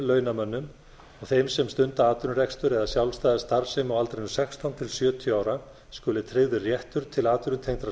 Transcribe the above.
launamönnum og þeim sem stunda atvinnurekstur eða sjálfstæða starfsemi á aldrinum sextán til sjötíu ára skuli tryggður réttur til atvinnutengdrar